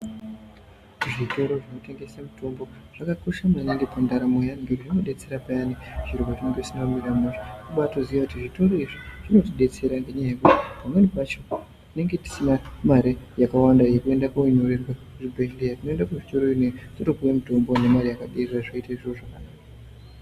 Kuzvitoro zvinotengesa mitombo zvakakosha maningi pandaramo yeantu ngekuti zvinobetsere payani pazvine nge zvisina kumira mushe. Vobva vatoziya kuti zvitoro izvinodetsera ngekuti pamweni pacho tinenge tisina mare yakawanda yekuende kunyorerwe kuzvibhedhleya. Tinoende kuzvitoro iyona iyo totopuve mitombo ngemare yakaderera zvoita zviro zvakanaka.